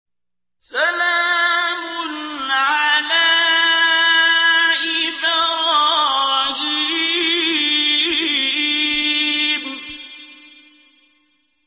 سَلَامٌ عَلَىٰ إِبْرَاهِيمَ